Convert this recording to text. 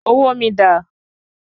Owó mi dà?